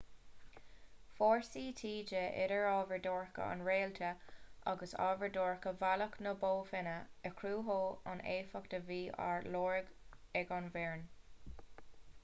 fórsaí taoide idir ábhar dorcha an réaltra agus ábhar dorcha bhealach na bó finne a chruthódh an éifeacht a bhí á lorg ag an bhfoireann